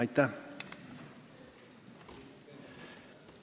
Aitäh!